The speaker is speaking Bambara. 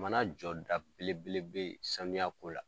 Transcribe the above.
Jamana jɔda belebele bɛ yen sanuya ko la.